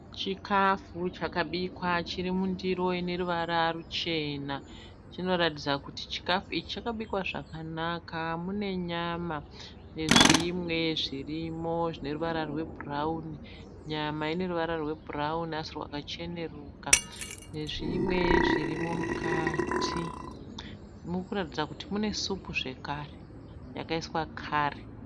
Chikafu chakabikwa chiri mundiro ineruvara chinoratidza kuti chikafu ichi chbikwa zvakanaka mune nyama nezvimwe zvirimo zvine ruvara rwebhurauni nyama ineruvara rwebhurauni asi rwakacheneruka nezvimwe zvirimo mukati murikuratidza kuti mune supu zvakare yakaiswa kari.